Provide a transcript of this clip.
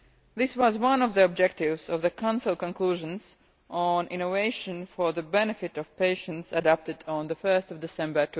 This was one of the objectives of the Council conclusions on innovation for the benefit of patients, adopted on 1 December